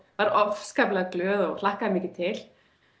var afskaplega glöð og hlakkaði mikið til